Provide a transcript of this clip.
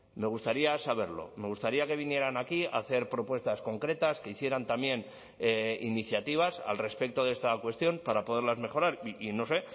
me gustaría saberlo me gustaría que vinieran aquí a hacer propuestas concretas que hicieran también iniciativas al respecto de esta cuestión para poderlas mejorar y no sé